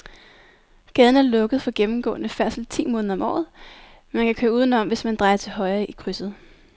Gaden er lukket for gennemgående færdsel ti måneder om året, men man kan køre udenom, hvis man drejer til højre i krydset.